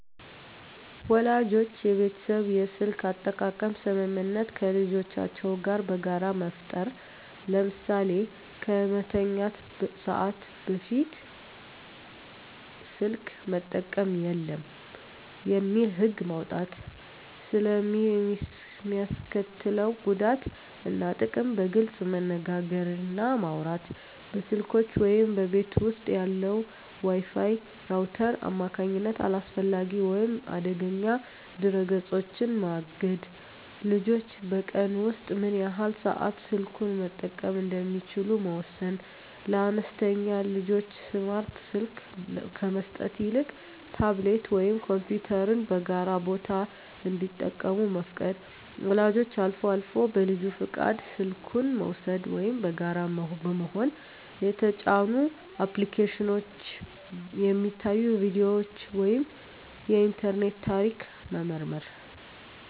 ወላጆች የቤተሰብ የስልክ አጠቃቀም ስምምነት ከልጆቻቸው ጋር በጋራ መፍጠር። ለምሳሌ "ከመተኛት ሰዓት በፊት ስልክ መጠቀም የለም" የሚል ህግ መውጣት። ስለ ሚስከትለው ጉዳት እና ጥቅም በግልፅ መነጋገር እና ማውራት። በስልኮች ወይም በቤት ውስጥ ባለው የWi-Fi ራውተር አማካኝነት አላስፈላጊ ወይም አደገኛ ድረ-ገጾችን ማገድ። ልጆች በቀን ውስጥ ምን ያህል ሰዓት ስልኩን መጠቀም እንደሚችሉ መወሰን። ለአነስተኛ ልጆች ስማርት ስልክ ከመስጠት ይልቅ ታብሌት ወይም ኮምፒውተርን በጋራ ቦታ እንዲጠቀሙ መፍቀድ። ወላጆች አልፎ አልፎ በልጁ ፈቃድ ስልኩን በመውሰድ (ወይም በጋራ በመሆን) የተጫኑ አፕሊኬሽኖች፣ የሚታዩ ቪዲዮዎች ወይም የኢንተርኔት ታሪክ መመርመር።